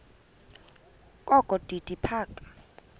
kokho udidi phaka